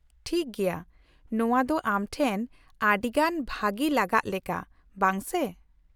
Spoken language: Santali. -ᱴᱷᱤᱠ ᱜᱮᱭᱟ, ᱱᱚᱶᱟ ᱫᱚ ᱟᱢ ᱴᱷᱮᱱ ᱟᱹᱰᱤ ᱜᱟᱱ ᱵᱷᱟᱹᱜᱤ ᱞᱟᱜᱟᱜ ᱞᱮᱠᱟ, ᱵᱟᱝ ᱥᱮ ?